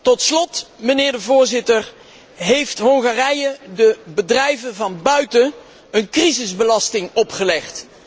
Tot slot, mijnheer de voorzitter, heeft Hongarije de bedrijven van buiten een crisisbelasting opgelegd.